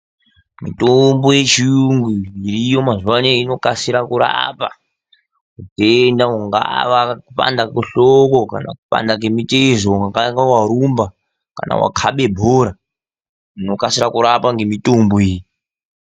Mitombo yechirungu iriyo mazuva ano inokasira kurapa utenda ungava kana kwehlobo kana kwemitezo ungavawarumba kane wakebe bhora unokwanisa kurapwa nemitombo iyi .